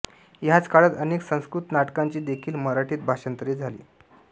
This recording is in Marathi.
ह्याच काळात अनेक संस्कृत नाटकांची देखील मराठीत भाषांतरे झाली